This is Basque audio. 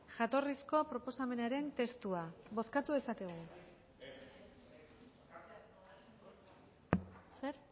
jatorrizko proposamenaren testua bozkatu dezakegu zer